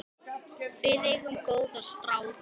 Við eigum góða stráka.